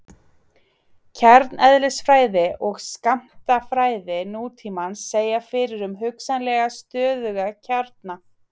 kjarneðlisfræði og skammtafræði nútímans segja fyrir um hugsanlega stöðuga kjarna